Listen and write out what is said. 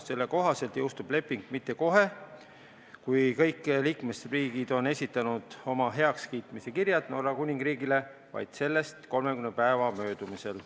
Selle kohaselt ei jõustu leping mitte kohe, kui kõik liikmesriigid on esitanud oma heakskiitmise kirjad Norra Kuningriigile, vaid sellest 30 päeva möödumisel.